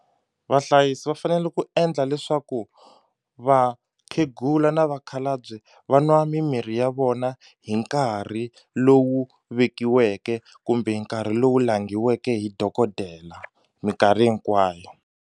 Vahlayisi va fanele ku endla leswaku vakhegula na vakhalabye va nwa mimirhi ya vona hi nkarhi lowu vekiweke kumbe hi nkarhi lowu langhiweke hi dokodela minkarhi hinkwayo.